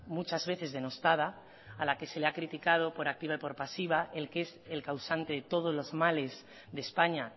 muchas veces denostada a la que se le ha criticado por activa y por pasiva el que es el causante de todos los males de españa